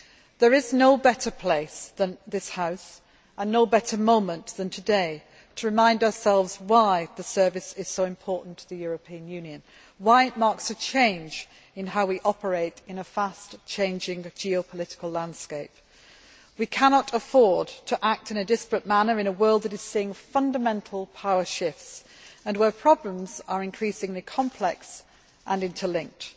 There is no better place than this House and no better moment than today to remind ourselves why the Service is so important to the European Union and why it marks a change in how we operate in a fast changing geopolitical landscape. We cannot afford to act in a disparate manner in a world that is seeing fundamental power shifts and where problems are increasingly complex and interlinked.